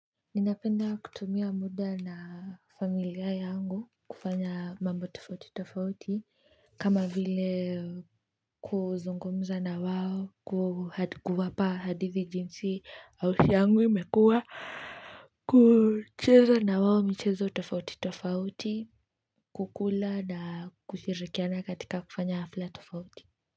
Ninapenda kutumia muda na familia yangu kufanya mambo tofauti tofauti kama vile kuzungumuza na wao kuwapa hadithi jinsi ausi yangu imekua kucheza na wao michezo tofauti tofauti kukula na kushirikiana katika kufanya kufanya hafla tofauti.